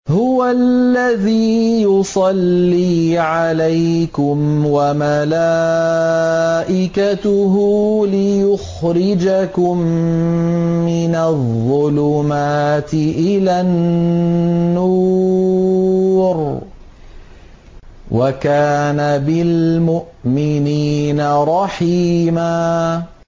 هُوَ الَّذِي يُصَلِّي عَلَيْكُمْ وَمَلَائِكَتُهُ لِيُخْرِجَكُم مِّنَ الظُّلُمَاتِ إِلَى النُّورِ ۚ وَكَانَ بِالْمُؤْمِنِينَ رَحِيمًا